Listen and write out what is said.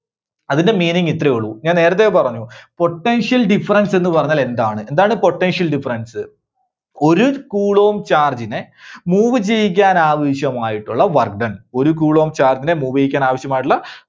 അതിന്റെ meaning ഇത്രയേ ഉള്ളൂ. ഞാൻ നേരത്തെ പറഞ്ഞു. Potential difference എന്ന് പറഞ്ഞാൽ എന്താണ്? എന്താണ് Potential difference? ഒരു Coulomb charge നെ move ചെയ്യിക്കാൻ ആവശ്യമായിട്ടുള്ള Work done, ഒരു coulomb charge നെ move ചെയ്യിക്കാൻ ആവശ്യമായിട്ടുള്ള